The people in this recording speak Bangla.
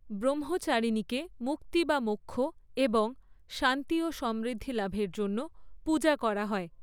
ব্রহ্মচারিণীকে মুক্তি বা মোক্ষ এবং শান্তি ও সমৃদ্ধিলাভের জন্য পূজা করা হয়।